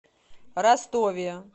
ростове